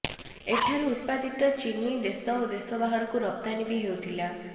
ଏଠାରୁ ଉତ୍ପାଦିତ ଚିନି ଦେଶ ଓ ଦେଶ ବାହାରକୁ ରପ୍ତାନି ବି ହେଉଥିଲା